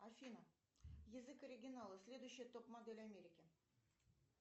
афина язык оригинала следующая топ модель америки